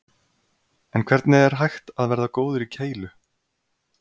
En hvernig er hægt að verða góður í keilu?